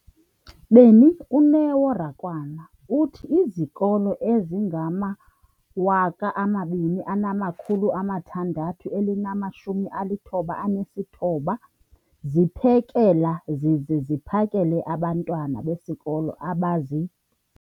beni, uNeo Rakwena, uthi izikolo ezingama-20 619 ziphekela zize ziphakele abantwana besikolo abazi-